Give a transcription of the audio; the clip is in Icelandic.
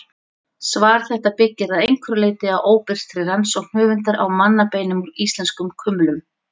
Svar þetta byggir að einhverju leyti á óbirtri rannsókn höfundar á mannabeinum úr íslenskum kumlum.